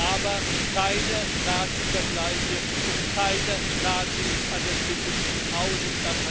Aber keine Nazivergleiche, und keine Nazis an der Spitze dieses Hauses!